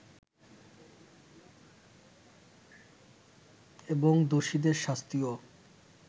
এবং দোষীদের শাস্তিও